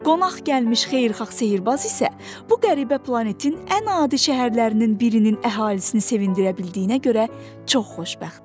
Qonaq gəlmiş xeyirxah sehrbaz isə bu qəribə planetin ən adi şəhərlərinin birinin əhalisini sevindirə bildiyinə görə çox xoşbəxt idi.